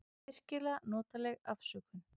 Virkilega notaleg afsökun.